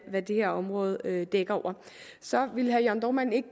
hvad det her område dækker over så vil herre jørn dohrmann ikke